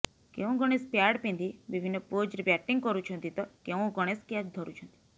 କେଉଁ ଗଣେଶ ପ୍ୟାଡ ପିନ୍ଧି ବିଭିନ୍ନ ପୋଜ୍ରେ ବ୍ୟାଟିଂ କରୁଛନ୍ତି ତ କେଉଁ ଗଣେଶ କ୍ୟାଚ୍ ଧରୁଛନ୍ତି